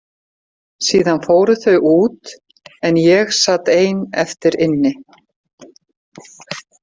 Síðan fóru þau út en ég sat ein eftir inni.